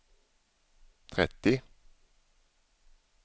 trettio